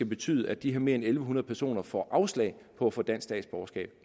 betyde at de her mere end en hundrede personer får afslag på at få dansk statsborgerskab